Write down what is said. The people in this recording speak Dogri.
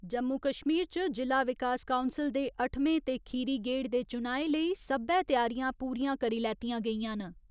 जम्मू कश्मीर च जि'ला विकास काउंसल दे अट्ठमें ते खीरी गेड़ दे चुनाएं लेई सब्बै त्यारियां पूरियां करी लैतियां गेइयां न।